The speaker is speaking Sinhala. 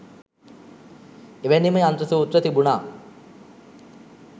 එවැනිම යන්ත්‍ර සූත්‍ර තිබුණා